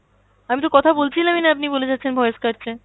আমিতো কথা বলছিলামই না, আপনি বলে যাচ্ছেন voice কাটছে।